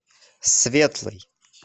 светлый